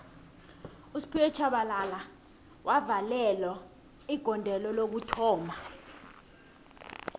usphiwe shabalala wavalelo igodelo lokuthoma